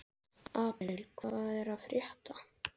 Apríl, hvað er að frétta?